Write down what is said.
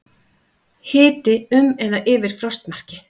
Hiti um eða yfir frostmarki